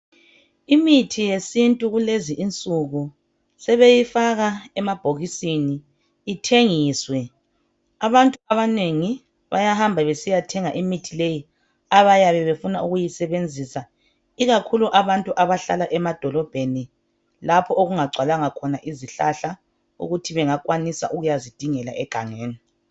Imithi yesintu kulezi insuku, sebeyifaka emabhokisini, ithengiswe. Abantu abanengi bayahamba besiyathenga imithi leyi. Abayabe befuna ukuyisebenzisa. lkakhulu abantu abahlala emadolobheni, lapho okungagcwalanga khona izihlahla. Ukuthi bangakwanisa ukuyazidingela egangeni.